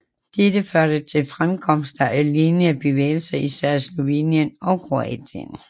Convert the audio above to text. Dette førte til fremkomsten af lignende bevægelser i især Slovenien og Kroatien